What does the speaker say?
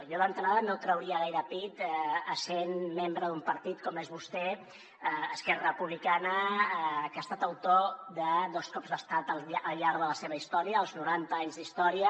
jo d’entrada no trauria gaire pit essent membre d’un partit com és vostè d’esquerra republicana que ha estat autor de dos cops d’estat al llarg de la seva història als noranta anys d’història